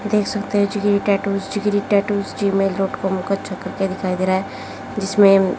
देख सकते है Jigri tattoos Jigri tattoos Gmail dot com का दिखाई दे रहा है। जिसमें--